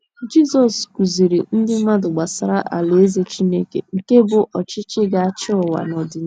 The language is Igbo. nt Jizọs kụziiri ndị mmadụ gbasara Alaeze Chineke nke bụ́ ọchịchị ga - achị ụwa n’ọdịnihu